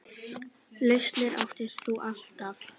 Lausnir áttir þú alltaf.